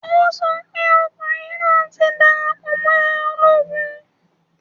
O sọ pé ọkùnrin náà ti darapọ̀ mọ́ ológun